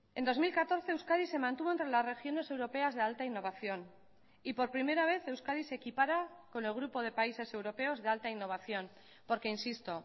en dos mil catorce euskadi se mantuvo entre las regiones europeas de alta innovación y por primera vez euskadi se equipara con el grupo de países europeos de alta innovación porque insisto